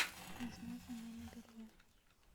нужна замена белья